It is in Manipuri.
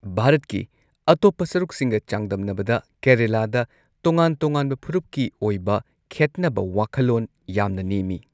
ꯚꯥꯔꯠꯀꯤ ꯑꯇꯣꯞꯄ ꯁꯔꯨꯛꯁꯤꯡꯒ ꯆꯥꯡꯗꯝꯅꯕꯗ ꯀꯦꯔꯂꯥꯗ ꯇꯣꯉꯥꯟ ꯇꯣꯉꯥꯟꯕ ꯐꯨꯔꯨꯞꯀꯤ ꯑꯣꯏꯕ ꯈꯦꯠꯅꯕ ꯋꯥꯈꯜꯂꯣꯟ ꯌꯥꯝꯅ ꯅꯦꯝꯃꯤ꯫